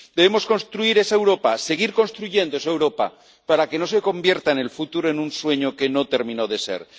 XXI. Debemos construir esa Europa, seguir construyendo esa Europa, para que no se convierta en el futuro en un sueño que no terminó de